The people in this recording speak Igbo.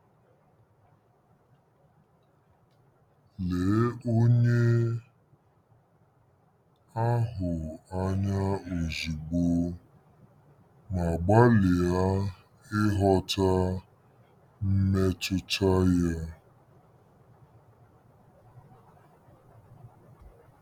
Lee onye ahụ anya ozugbo ma gbalịa ịghọta mmetụta ya.